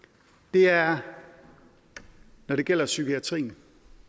er når det gælder psykiatrien